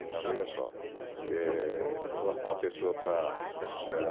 Então, veja só, eh eu arrumo uma pessoa para ficar com ela.